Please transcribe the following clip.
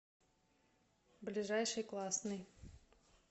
ближайший классный